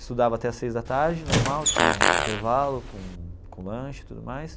Estudava até as seis da tarde, normal, tinha intervalo com com lanche e tudo mais.